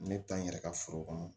Ne bɛ taa n yɛrɛ ka foro kɔnɔ